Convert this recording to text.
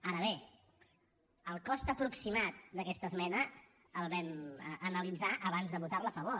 ara bé el cost aproximat d’aquesta esmena el vam analitzar abans de votar hi a favor